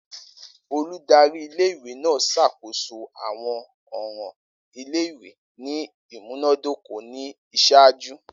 Oludari ìle-ìwe naa ṣakoso awọn ọran ile-iwe ni imunadoko ni iṣaaju.